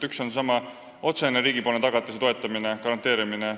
Üks on seesama otsene riigi tagatis ja toetamine, garanteerimine.